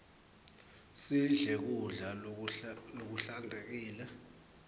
sidle kudla lokuhlantekile